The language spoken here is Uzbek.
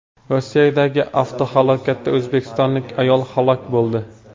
Rossiyadagi avtohalokatda o‘zbekistonlik ayol halok bo‘ldi.